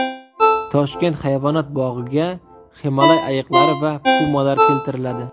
Toshkent hayvonot bog‘iga Himolay ayiqlari va pumalar keltiriladi.